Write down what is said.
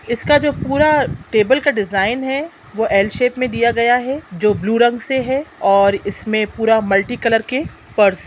इसका जो पूरा टेबल का डिजाइन है वो एल शेप में दिया गया है जो ब्लू रंग से है ओर इसमे पूरा मल्टी कलर के पर्स ---